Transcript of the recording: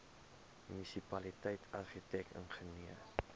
munisipaliteit argitek ingenieur